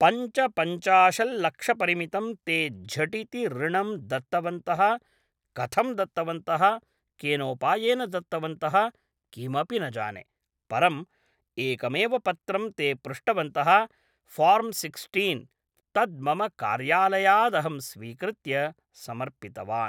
पञ्चपञ्चाशत्लक्षपरिमितं ते झटिति ऋणं दत्तवन्तः कथं दत्तवन्तः केनोपायेन दत्तवन्तः किमपि न जाने परं एकमेव पत्रं ते पृष्टवन्तः फ़ार्म् सिक्स्टीन् तद् मम कार्यालयादहं स्वीकृत्य समर्पितवान्